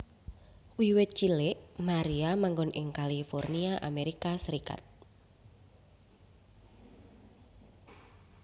Wiwit cilik Maria manggon ing California Amerika Serikat